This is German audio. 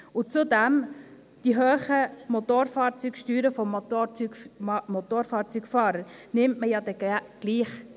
Zudem nimmt man die hohen Motorfahrzeugsteuern der Motorfahrzeugfahrer ja dann doch gerne ein.